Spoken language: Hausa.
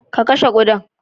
Ka kashe kuɗan